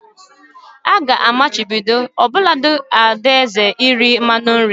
A ga-amachibido ọbụlagodi Ada eze iri mmanụ nri